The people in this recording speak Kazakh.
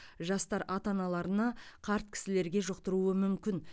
жастар ата аналарына қарт кісілерге жұқтыруы мүмкін